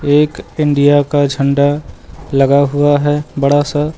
ये एक इंडिया का झंडा लगा हुआ है बड़ा सा।